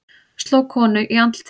Sló konu í andlitið